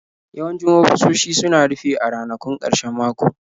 Yawancin ofisoshi suna rufe a ranakun ƙarshen mako.